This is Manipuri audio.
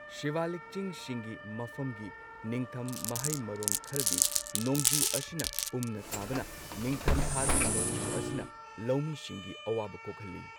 ꯁꯤꯕꯥꯂꯤꯛ ꯆꯤꯡꯁꯤꯡꯒꯤ ꯃꯐꯝꯒꯤ ꯅꯤꯡꯊꯝ ꯃꯍꯩ ꯃꯔꯣꯡ ꯈꯔꯗꯤ ꯅꯣꯡꯖꯨ ꯑꯁꯤꯅ ꯄꯨꯝꯅ ꯇꯥꯕꯅ ꯅꯤꯡꯊꯝꯊꯥꯒꯤ ꯅꯣꯡꯖꯨ ꯑꯁꯤꯅ ꯂꯧꯃꯤꯁꯤꯡꯒꯤ ꯑꯋꯥꯕ ꯀꯣꯛꯍꯜꯂꯤ꯫